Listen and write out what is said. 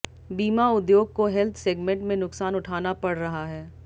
बीमा उद्योग को हेल्थ सेगमेंट में नुकसान उठाना पड़ रहा है